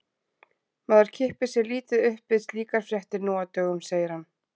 Maður kippir sér lítið upp við slíkar fréttir nú á dögum, segir hann.